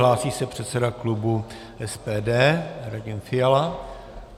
Hlásí se předseda klubu SPD Radim Fiala.